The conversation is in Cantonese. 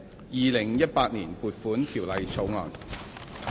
《2018年撥款條例草案》。